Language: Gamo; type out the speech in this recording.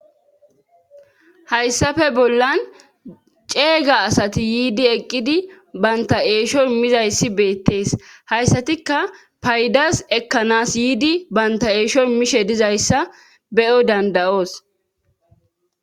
hayssafe bollan ceega asati yiidi eqqidi banta eeshoy mizayssi beettees hayssatikka paydas ekkanas yiidi banta eeshoy mishe dizayssa beyo dandayoos